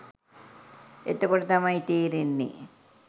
එතකොට තමයි තේරෙන්නේ